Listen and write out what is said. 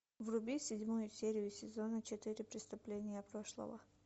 вруби седьмую серию сезона четыре преступления прошлого